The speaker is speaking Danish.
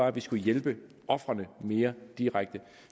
at vi skulle hjælpe ofrene mere direkte